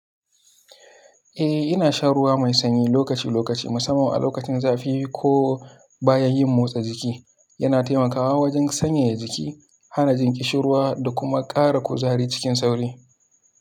Eh, ina shan ruwa mai sanyi lokaci-lokaci, musamman a lokacin zafi ko bayan yin motsa jiki. Yana taimakawa wajen sanyaya jiki, hana jin ƙishir ruwa da kuma ƙara kuzari cikin sauri.